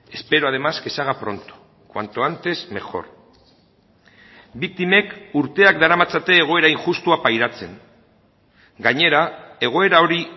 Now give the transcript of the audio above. espero además que se haga pronto cuanto antes mejor biktimek urteak daramatzate egoera injustua pairatzen gainera egoera hori